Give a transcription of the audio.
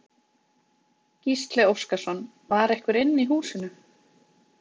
Gísli Óskarsson: Var einhver inni í húsinu?